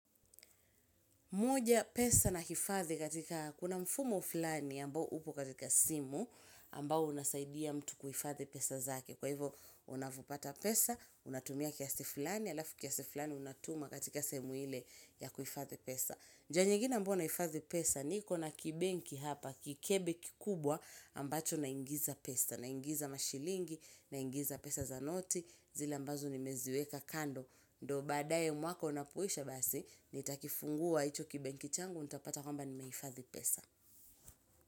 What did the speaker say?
Moja pesa na hifadhi katika kuna mfumo fulani ambao upo katika simu ambao unasaidia mtu kuhifadhi pesa zake. Kwa hivyo, unavopata pesa, unatumia kiasi fulani alafu kiasi fulani unatuma katika sehemu ile ya kuhifadhi pesa. Njia nyingine ambao nahifadhi pesa niko na kibenki hapa kikebe kikubwa ambacho na ingiza pesa. Na ingiza mashilingi na ingiza pesa za noti zile ambazo nimeziweka kando. Ndo baadaye mwaka unapoisha basi, nitakifungua hicho kibenki changu nitapata kwamba nimehifadhi pesa.